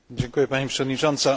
Pani Przewodnicząca!